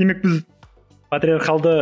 демек біз патриархалды